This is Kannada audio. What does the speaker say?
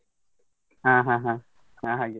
ಹಾ ಹಾ ಹಾ ಹಾಗೆ.